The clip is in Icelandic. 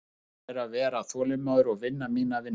Mitt starf er að vera þolinmóður og vinna mína vinnu.